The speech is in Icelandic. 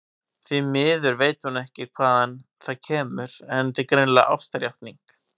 Því miður veit hún ekki hvaðan það kemur, en þetta er greinilega ástarjátning.